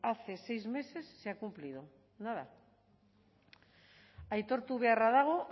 hace seis meses se ha cumplido nada aitortu beharra dago